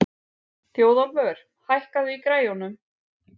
Þjóðólfur, hækkaðu í græjunum.